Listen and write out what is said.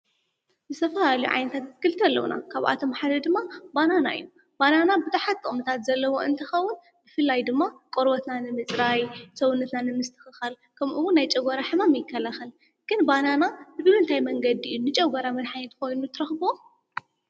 ዝተፈላለዩ ዓይነታት ኣትክልቲ ኣለዉና፡፡ ካብኣቶም ሓደ ድማ ባናና እዩ፡፡ ባናና ብዙሓት ጥቕምታት ዘለዎ እንትኸውን ብፍላይ ድማ ቖርቦትና ንምፅራይ፣ ሰውነትና ንምስትኽኻል ከምኡውን ናይ ጨጐራ ሕማም ይከላኸል ፡፡ግን ባናና ብምንታይ መንገዲ እዩ ንጨጐራ መድሓኒት ኾይኑ ትረኽብዎ?